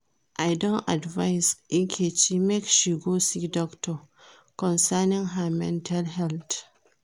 I don advice Nkechi make she go see doctor concerning her mental health